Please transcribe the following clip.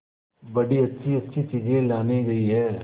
बड़ी अच्छीअच्छी चीजें लाने गई है